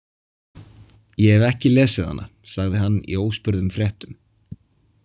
Ég hef ekki lesið hana, sagði hann í óspurðum fréttum.